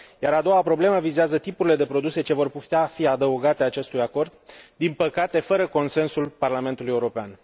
A doua problemă vizează tipurile de produse ce vor putea fi adăugate acestui acord, din păcate fără consensul Parlamentului European.